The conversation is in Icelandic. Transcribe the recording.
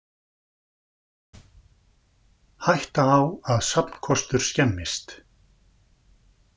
Hætta á að safnkostur skemmist